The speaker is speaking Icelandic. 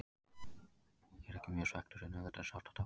Ég er ekki mjög svekktur en auðvitað er sárt að tapa.